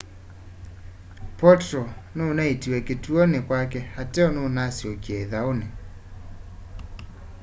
potro nunaiitiwe kituoni kwake ateo nunasyokie ithauni